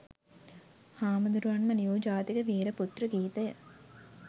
හාමුදුරුවන්ම ලියූ ජාතික වීර පුත්‍ර ගීතය